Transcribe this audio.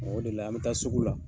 O de la an bɛ taa sugu la